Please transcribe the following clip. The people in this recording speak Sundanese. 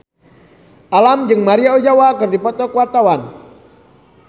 Alam jeung Maria Ozawa keur dipoto ku wartawan